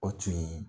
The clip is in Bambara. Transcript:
O tun ye